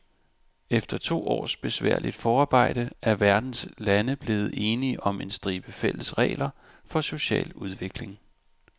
Efter to års besværligt forarbejde er verdens lande blevet enige om en stribe fælles regler for social udvikling.